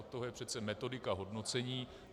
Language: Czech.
Od toho je přece metodika hodnocení.